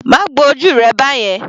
Má gbo ojú rẹ báyẹn.